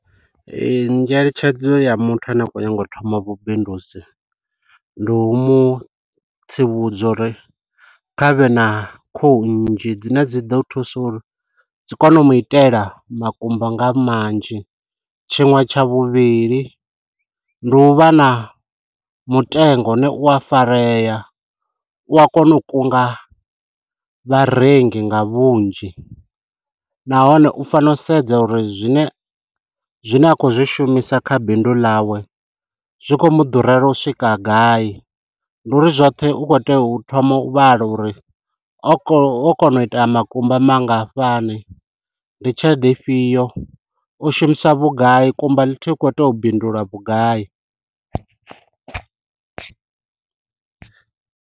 Ee, ngeletshedzo ya muthu ane a khou nyaga u thoma vhubindudzi, ndi u mu tsivhudza uri khavhe na khuhu nnzhi dzine dzi ḓo thusa uri, dzi kone u mu itela makumba nga manzhi. Tshiṅwe tsha vhuvhili, ndi u vha na mutengo une u a farea, u a kona u kunga vharengi nga vhunzhi. Nahone u fanela u sedza uri zwine zwine a khou zwi shumisa kha bindu ḽawe, zwi khou muḓurela u swika gai. Ndi uri zwoṱhe u khou tea u thoma u vhala uri, o kon o kona u ita makumba mangafhani, ndi tshelede fhio, o shumisa vhugai, kumba ḽithihi u khou itea u bindula vhugai.